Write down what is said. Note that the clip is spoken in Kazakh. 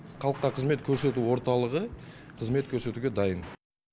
халыққа қызмет көрсету орталығы қызмет көрсетуге дайын